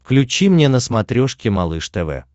включи мне на смотрешке малыш тв